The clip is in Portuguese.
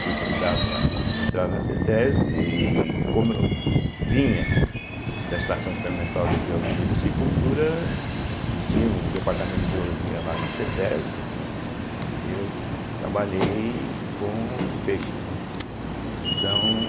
Fui convidado para entrar na cêtésbe e como eu vinha da Estação Experimental de Biologia e Psicultura e tinha um departamento de biologia lá na cêtésbe, né, eu trabalhei com peixes, né, então.